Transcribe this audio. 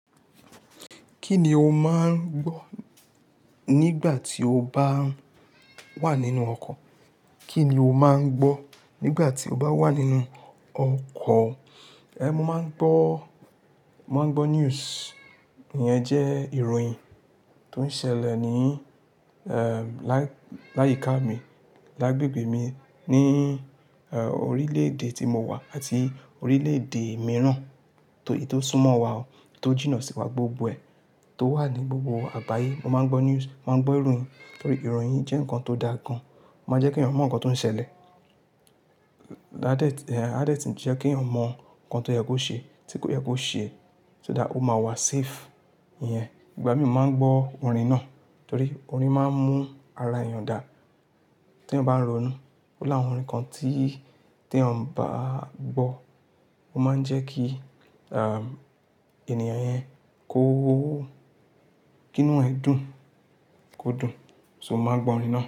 Kí ni o máa ń gbọ́ nígbà tí o bá wà nínú ọkọ̀? Kí ni o máa ń gbọ́ nígbà tí o bá wà nínú ọkọ̀? Eh, mo máa ń gbọ́, mo máa ń gbọ́ news. Ìyẹn jẹ́ ìròyìn tó ń ṣẹlẹ̀ ní, eh, lá-- láyíká mi, lágbègbè mi ní, eh, orílẹ̀-èdè tí mo wà àti orílẹ̀-èdè mìíràn tó, tó súnmọ́ wa ó, tó jìnnà sí wa gbogbo ẹ, tó wà ní gbogbo àgbáyé. Mo máa ń gbọ́ news, mo máa ń gbọ́ ìròyìn torí ìròyìn jẹ́ nnkan tó da gan. Ó máa jẹ́ kí ènìyàn mọ̀ nnkan tó ń ṣẹlẹ̀. Òótọ́. A dẹ́, eh, a dẹ́ tì jẹ́ kí ènìyàn mọ̀ ǹkan tó yẹ kó ṣe, tí kò yẹ kó ṣe. Òótọ́ dá, ó máa wà safe. Iyẹn, ìgbà mìíràn mó máa ń gbọ́ orin náà torí orin máa ń mú ara ènìyàn dà tí èèyàn bá ń ronú. Ó láwọn orin kan tí, tí èèyàn bá gbọ́, ó máa ń jẹ́ kí, ah, ènìyàn yẹn kó, kìnú ẹ dùn, kó dùn. So mó máa gbọ́ orin náà.